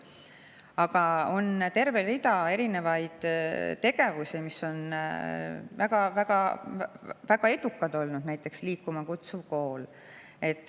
Aga on veel terve rida tegevusi, mis on väga-väga edukad olnud, näiteks Liikuma Kutsuv Kool.